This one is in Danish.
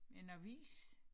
En avis